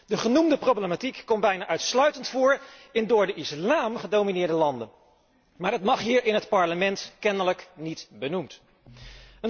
De genoemde problematiek komt bijna uitsluitend voor in door de islam gedomineerde landen, maar het mag hier in het Parlement kennelijk niet benoemd worden.